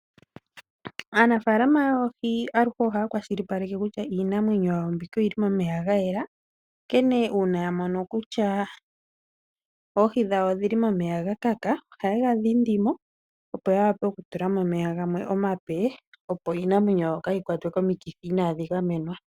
Aanafaalama yoohi aluhe ohaya kwashilipaleke kuutya iinamwenyo yawo mbika oyili momeya gayela onkene uuna yamono kutya oohi dhawo odhili momeya gakaka ohaye gadhindi mo opo yawape okutula mo omaeya gamwe omape opo iinamwenyo kayi kwatwe komikithi inadhi gamwnewa.